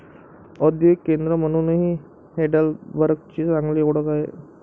औद्योगिक केंद्र म्हणूनही हेडेलबर्गची चांगली ओळख आहे.